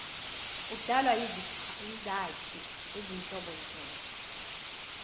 udalwa yizakhi ezinhlobonhlobo